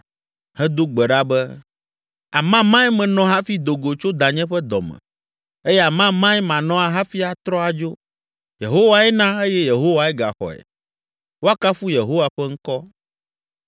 hedo gbe ɖa be, “Amamae menɔ hafi do go tso danye ƒe dɔ me, eye amamae manɔ hafi atrɔ adzo. Yehowae na eye Yehowae gaxɔe; woakafu Yehowa ƒe ŋkɔ!”